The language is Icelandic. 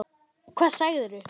Hvað sagirðu?